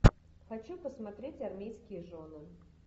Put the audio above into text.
хочу посмотреть армейские жены